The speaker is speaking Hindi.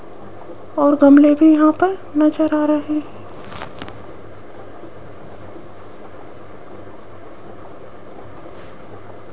और गमले भी यहां पर नजर आ रहे --